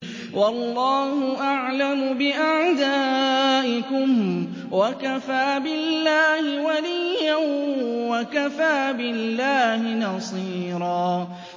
وَاللَّهُ أَعْلَمُ بِأَعْدَائِكُمْ ۚ وَكَفَىٰ بِاللَّهِ وَلِيًّا وَكَفَىٰ بِاللَّهِ نَصِيرًا